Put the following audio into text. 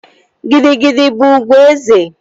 Gidi gidi bụ ugwu eze